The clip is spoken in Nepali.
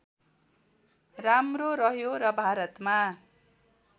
राम्रो रह्यो र भारतमा